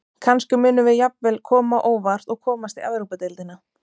Kannski munum við jafnvel koma á óvart og komast í Evrópudeildina.